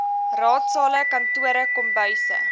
raadsale kantore kombuise